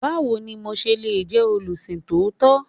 Báwo ni mo se le jẹ́ olùsìn tòótọ́?